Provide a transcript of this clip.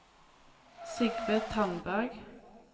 Sigve Tandberg